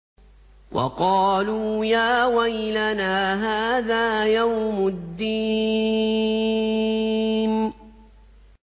وَقَالُوا يَا وَيْلَنَا هَٰذَا يَوْمُ الدِّينِ